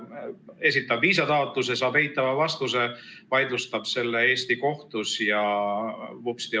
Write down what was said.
Et esitab viisataotluse, saab eitava vastuse, vaidlustab selle Eesti kohtus ja vupsti!